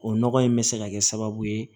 O nɔgɔ in bɛ se ka kɛ sababu ye